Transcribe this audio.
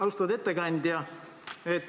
Austatud ettekandja!